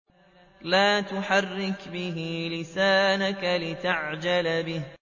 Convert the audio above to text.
لَا تُحَرِّكْ بِهِ لِسَانَكَ لِتَعْجَلَ بِهِ